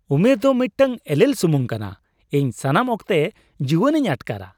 ᱩᱢᱮᱨ ᱫᱚ ᱢᱤᱫᱴᱟᱝ ᱮᱞᱮᱠ ᱥᱩᱢᱩᱝ ᱠᱟᱱᱟ ᱾ ᱤᱧ ᱥᱟᱱᱟᱢ ᱚᱠᱛᱮ ᱡᱩᱶᱟᱱᱤᱧ ᱟᱴᱠᱟᱨᱟ ᱾